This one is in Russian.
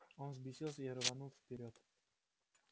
он взбесился и рванул вперёд